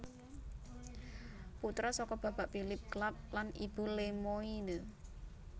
Putra saka Bapak Philip Clapp lan Ibu Lemoyne